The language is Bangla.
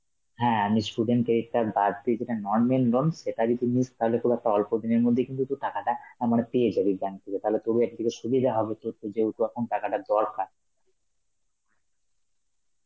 হ্যাঁ আমি student credit card বাদ দিয়ে যেটা normal loan সেটা যদি নিস তাহলে তোর একটা অল্পদিনের মধ্যেই কিন্তু তুই টাকাটা আ মানে পেয়ে যাবি bank থেকে, তাহলে তোরও একদিকে সুবিধা হবে তোর তো যেহেতু এখন টাকাটা দরকার.